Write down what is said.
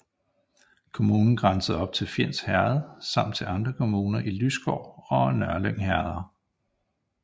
Kommunen grænsede op til Fjends Herred samt til andre kommuner i Lysgård og Nørlyng herreder